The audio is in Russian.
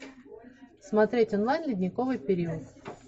смотреть онлайн ледниковый период